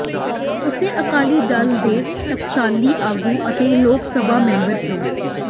ਉਸੇ ਅਕਾਲੀ ਦਲ ਦੇ ਟਕਸਾਲੀ ਆਗੂ ਅਤੇ ਲੋਕ ਸਭਾ ਮੈਂਬਰ ਪ੍ਰੋ